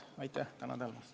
Tänan tähelepanu eest!